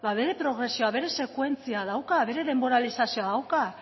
bere progresioa bere sekuentzia dauka bere denboralizazioa dauka